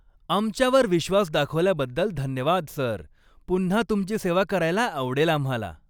आमच्यावर विश्वास दाखवल्याबद्दल धन्यवाद, सर. पुन्हा तुमची सेवा करायला आवडेल आम्हाला.